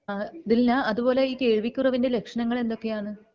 അഹ് ദിൽന അതുപോലെ ഈ കേൾകുറവിൻ്റെ ലക്ഷണങ്ങൾ എന്തൊക്കെയാണ്